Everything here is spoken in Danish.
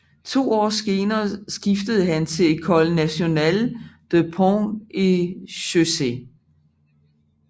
To år senere skiftede han til École nationale des ponts et chaussées